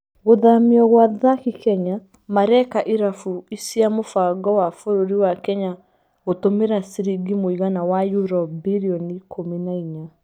Gũthamio gwa athaki Kenya mareeka irabu cia mũbango wa bũrũri wa Kenya gutumĩra ciringi mũigana wa Euro birioni ikũmi na inya.